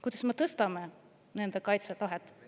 Kuidas me tõstame nende kaitsetahet?